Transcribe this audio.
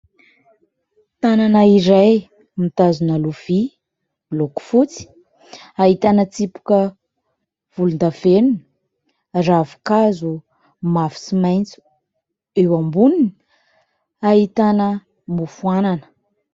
Tanana iray mitazona lovia miloko fotsy ahitana : tsipika volondavenona ravinkazo mavo sy maitso ; eo amboniny ahitana mofo anana.